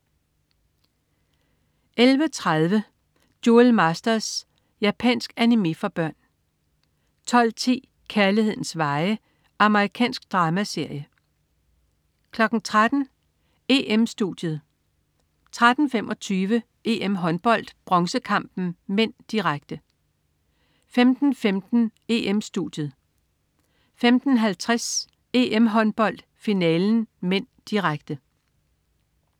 11.30 Duel Masters. Japansk animé for børn 12.10 Kærlighedens veje. Amerikansk dramaserie 13.00 EM-Studiet 13.25 EM-Håndbold: Bronzekampen (m), direkte 15.15 EM-Studiet 15.50 EM-Håndbold: Finalen (m), direkte